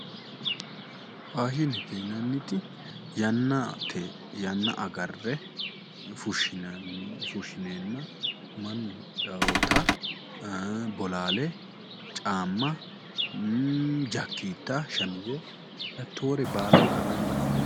Faashinete yinnanniti yannate yanna agarre fushinenna mannu hidhanotta bolale, caama, ii'i jakketta, shamize hattore baalanka gamba assine